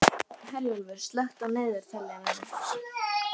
Herjólfur, slökktu á niðurteljaranum.